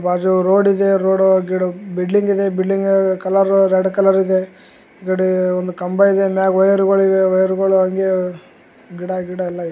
ಬಾಜು ರೋಡ್ ಇದೆ ರೋಡ್ ಗಿಡ ಬಿಲ್ಡಿಂಗ್ ಇದೆ ಬಿಲ್ಡಿಂಗ್ ಕಲರ್ ರೆಡ್ ಕಲರ್ ಇದೆ ಆಕಡೆ ಒಂದ್ ಕಂಬ ಇದೆ ಮ್ಯಾಗ್ ವೈರುಗಳು ಇದೆ ವೈರುಗಳು ಹಾಂಗೆ ಗಿಡ ಗಿಡ ಎಲ್ಲಾ ಇದೆ.